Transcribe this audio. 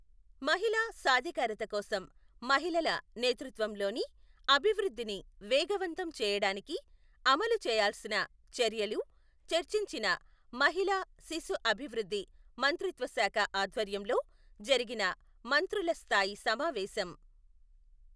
మహిళా సాధికారత కోసం మహిళల నేతృత్వంలోని అభివృద్ధిని వేగవంతం చేయడానికి అమలు చేయాల్సిన చర్యలు చర్చించిన మహిళా శిశు అభివృద్ధి మంత్రిత్వ శాఖ ఆధ్వర్యంలో జరిగిన మంత్రుల స్థాయి సమావేశం.